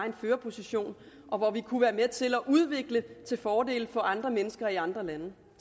en førerposition og hvor vi kunne have været med til at udvikle til fordel for andre mennesker i andre lande